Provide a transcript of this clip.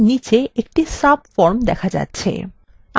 আমাদের library database খোলা যাক